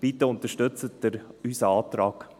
Bitte unterstützen Sie unseren Antrag.